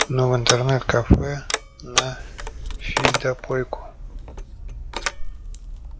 ну в интернет-кафе на фидопойку